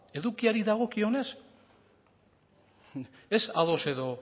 edukiari dagokionez ez ados edo